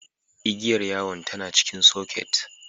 Igiyar yawon tAna jikin soket